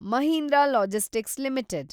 Mahindra logistics limited